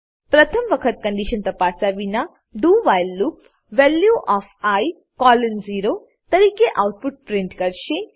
પ્રથમ વખત કન્ડીશન તપાસ્યા વિના do while loop value of i colon 0 તરીકે આઉટપુટ પ્રિન્ટ કરશે